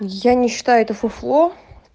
я не читаю это фуфло